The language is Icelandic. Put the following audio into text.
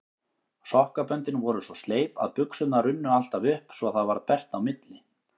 Sokkaböndin voru svo sleip að buxurnar runnu alltaf upp svo það varð bert á milli.